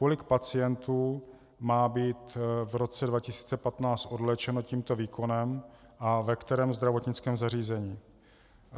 Kolik pacientů má být v roce 2015 odléčeno tímto výkonem a ve kterém zdravotnickém zařízení?